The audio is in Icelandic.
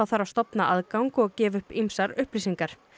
þarf að stofna aðgang og gefa upp ýmsar upplýsingar